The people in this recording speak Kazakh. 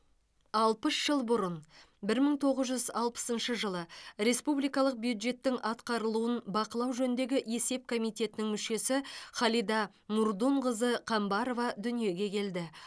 алпыс жыл бұрын бір мың тоғыз жүз алпысыншы жылы республикалық бюджеттің атқарылуын бақылау жөніндегі есеп комитетінің мүшесі халида мурдунқызы қамбарова дүниеге келді